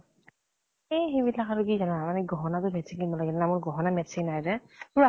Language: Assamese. এ সেইবিলাক আৰু কি জানা মানে গহনা তো matching কিনিব লাগে ন। মোৰ গহনা matching নাই যে